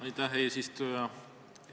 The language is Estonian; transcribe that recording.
Aitäh, eesistuja!